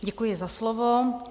Děkuji za slovo.